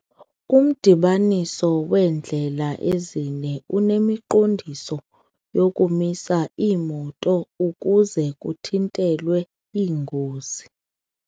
Umdibaniso weendlela ezine unemiqondiso yokumisa iimoto ukuze kuthintelwe iingozi.